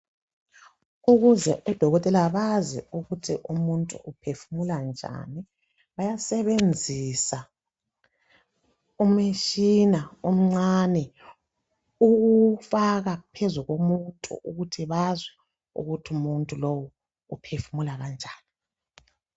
ukuze odokotela bazi ukuthi umuntu uphefumula njani bayasebenzisa umshina omncane ukufaka phezu komuntu ukuthi bazwe ukuthi umuntu lowu uphefumula kanjani